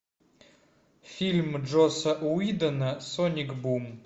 фильма джосса уидона соник бум